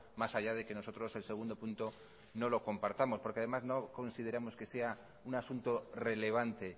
más allá de que nosotros el segundo punto no lo compartamos porque además no consideramos que sea un asunto relevante